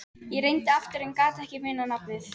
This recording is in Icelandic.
Ég reyndi aftur en ég gat ekki munað nafnið.